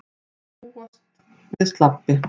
Má því búast við slabbi